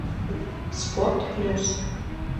спорт плюс